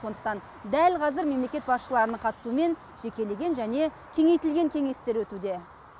сондықтан дәл қазір мемлекет басшыларының қатысуымен жекелеген және кеңейтілген кеңестер өтуде